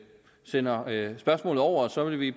sender spørgsmålet over og så vil vi